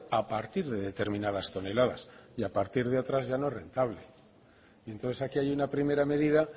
a partir de determinadas toneladas y a partir de otras ya no es rentable entonces aquí hay una primera medida